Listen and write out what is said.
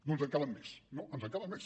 no ens en calen més no ens en calen més